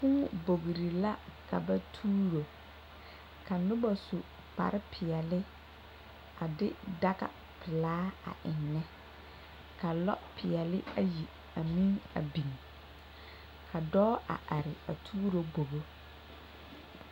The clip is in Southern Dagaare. Kuu bogre la ka ba tuuro ka noba su kpare peɛle a de daga pilaa a eŋnɛ ka lɔ peɛle ayi a meŋ biŋ ka dɔɔ a ate a tuuro bogi.